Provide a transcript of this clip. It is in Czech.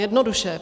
Jednoduše.